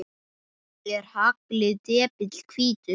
Er haglið depill hvítur?